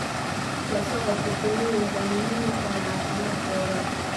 La socodka shinnidu waxay muhiim u tahay caafimaadkooda.